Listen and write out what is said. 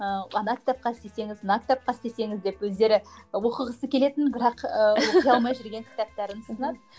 ыыы ана кітапқа істесеңіз мына кітапқа істесеңіз деп өздері оқығысы келетін бірақ оқи алмай жүрген кітаптарын ұсынады